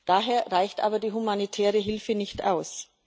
Daher reicht aber die humanitäre Hilfe nicht aus.